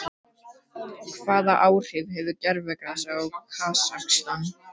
Hvaða áhrif hefur gervigrasið í Kasakstan?